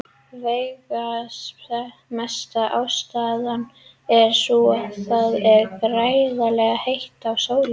Veigamesta ástæðan er sú að það er gríðarlega heitt á sólinni.